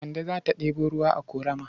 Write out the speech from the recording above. Kande za ta ɗebo ruwa a ƙorama.